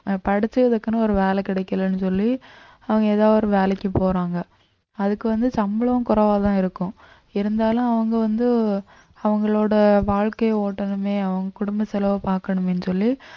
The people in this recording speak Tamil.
அஹ் படிச்சதுக்குன்னு ஒரு வேலை கிடைக்கலைன்னு சொல்லி அவங்க ஏதோ ஒரு வேலைக்கு போறாங்க அதுக்கு வந்து சம்பளம் குறைவாதான் இருக்கும் இருந்தாலும் அவங்க வந்து அவங்களோட வாழ்க்கை ஓட்டணுமே அவங்க குடும்ப செலவை பார்க்கணுமேன்னு சொல்லி